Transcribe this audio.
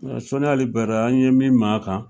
Ŋa Soni Ali Ber an ye min m'a kan